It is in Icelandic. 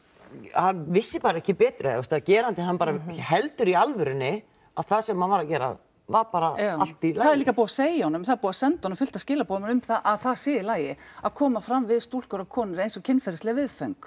hann vissi bara ekki betur eða þú að gerandi hann bara heldur í alvörunni að það sem hann var að gera var bara allt í lagi líka búið að segja honum það er búið að senda honum fullt af skilaboðum um að það sé í lagi að koma fram við stúlkur og konur eins og kynferðisleg viðföng